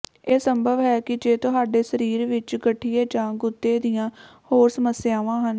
ਇਹ ਸੰਭਵ ਹੈ ਕਿ ਜੇ ਤੁਹਾਡੇ ਸਰੀਰ ਵਿੱਚ ਗਠੀਏ ਜਾਂ ਗੁਦੇ ਦੀਆਂ ਹੋਰ ਸਮੱਸਿਆਵਾਂ ਹਨ